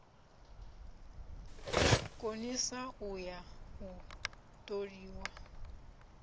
konisa u ya u toliwa